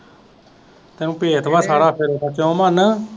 ਤੈਨੂੰ ਭੇਦ ਵਾ ਸਾਰਾ ਫੇਰ ਸੱਚੋ ਮਨ